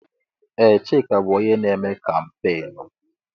Ee! Chika bụ onye na-eme kampeenụ́.